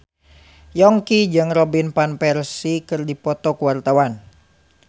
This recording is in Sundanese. Yongki jeung Robin Van Persie keur dipoto ku wartawan